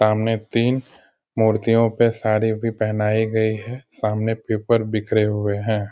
सामने तीन मूर्तियों पे साड़ी भी पहनाई गई है। सामने पेपर बिखरे हुए हैं।